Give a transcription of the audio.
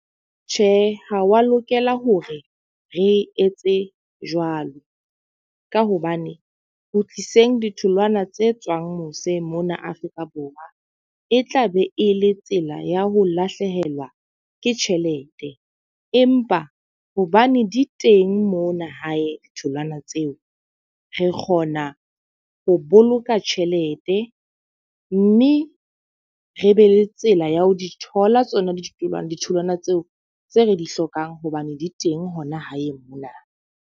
Tjhe, ha wa lokela hore re etse jwalo. Ka hobane ho tiiseng ditholwana tse tswang mose mona Afrika Borwa, e tla be e le tsela ya ho lahlehelwa ke tjhelete. Empa hobane di teng mona hae ditholwana tseo, re kgona ho boloka tjhelete mme re be le tsela ya ho di thola tsona ditholwana ditholwana tseo tse re di hlokang hobane di teng hona hae mona.